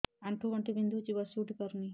ଆଣ୍ଠୁ ଗଣ୍ଠି ବିନ୍ଧୁଛି ବସିଉଠି ପାରୁନି